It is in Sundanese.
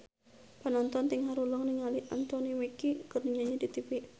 Panonton ting haruleng ningali Anthony Mackie keur nyanyi di tipi